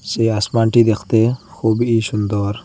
সে আসমানটি দেখতে খুবই সুন্দর।